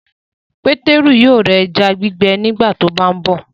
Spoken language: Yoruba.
Peteru yóò rà ẹja gbígbẹ nígbàtí o bá nbó.